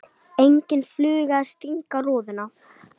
Engin fluga að stanga rúðuna.